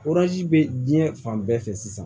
bɛ diɲɛ fan bɛɛ fɛ sisan